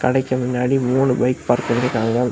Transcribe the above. கடைக்கு முன்னாடி மூணு பைக் பார்க் பண்ணீருக்காங்க.